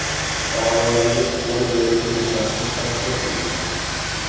Fuqarolarga qo‘l berib ko‘rishmaslik tavsiya qilindi.